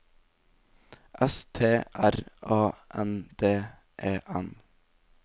S T R A N D E N